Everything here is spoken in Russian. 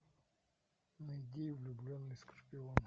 найди влюбленный скорпион